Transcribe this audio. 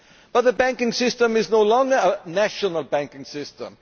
But the banking system is no longer a national banking system.